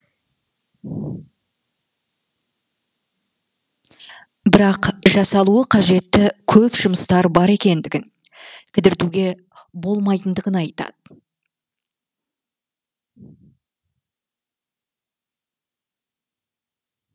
бірақ жасалуы қажетті көп жұмыстары бар екендігін кідіртуге болмайтындығын айтады